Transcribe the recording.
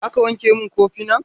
Za ka wanke min kofinan?